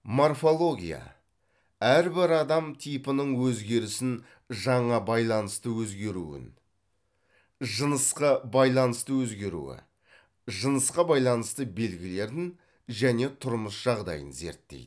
морфология әрбір адам типінің өзгерісін жаңа байланысты өзгеруін жынысқы байланыстыөзгеруі жынысқа байланысты белгілерін және тұрмыс жағдайын зерттейді